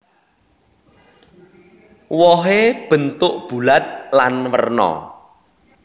Wohé bentuk bulat lan werna